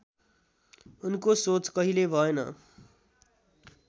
उनको सोच कहिल्यै भएन